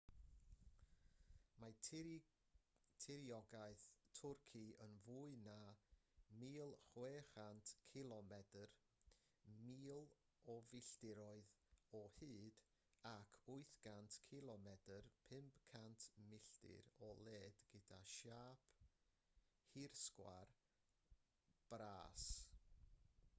mae tiriogaeth twrci yn fwy na 1,600 cilomedr 1,000 o filltiroedd o hyd ac 800 cilomedr 500 milltir o led gyda siâp hirsgwar bras